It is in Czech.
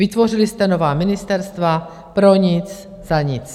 Vytvořili jste nová ministerstva pro nic za nic.